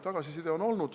Tagasiside on olnud.